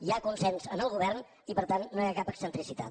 hi ha consens en el govern i per tant no hi ha cap excentricitat